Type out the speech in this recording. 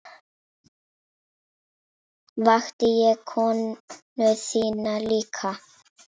Vakti ég konu þína líka?